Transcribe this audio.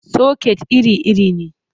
Soket iri-iri ne.